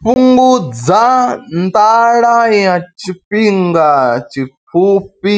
Fhungudza nḓala ya tshifhinga tshipfufhi